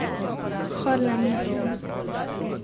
V Harlem, mislim.